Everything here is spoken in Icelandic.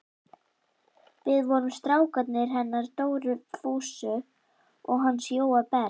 Við vorum strákarnir hennar Dóru Fúsa og hans Jóa Berg.